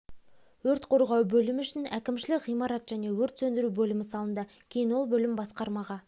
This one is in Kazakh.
өрт қорғау бөлімі үшін әкімшілік ғимарат және өрт сөндіру бөлімі салынды кейін ол бөлім басқармаға